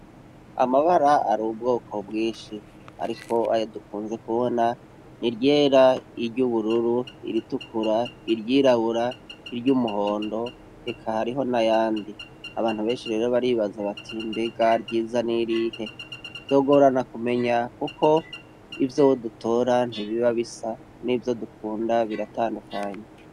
Amabara ari ubwoko bwinshi, ariko aya dukunze kubona ni ryera iryo ubururu iritukura iryirabura iryo umuhondo eka hariho na yandi abantu benshi rero baribaza bati mbega ryiza n'irihe vyogorana kumenya, kuko ivyo wudutoranje biba bisa n'ivyo dukunda biratandukanye.